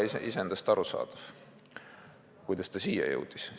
Nii et iseendast on arusaadav, kuidas see säte eelnõusse jõudis.